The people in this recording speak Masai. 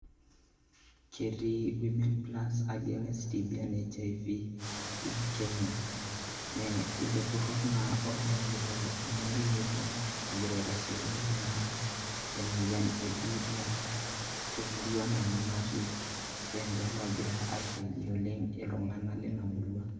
Ketii women plus against TB and HIV in Kenya, nee ilo turrur naa otumokito nye orikito egira aitasheki naa emoyian e biitia te murua nanu natii, keenje loogira aisaidia oleng' iltung'anak lina murua.